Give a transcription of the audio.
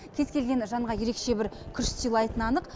кез келген жанға ерекше бір күш сыйлайтыны анық